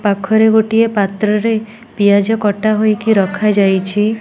ପାଖରେ ଗୋଟିଏ ପାତ୍ରରେ ପିଆଜ କଟା ହୋଇକି ରଖାଯାଇଛି।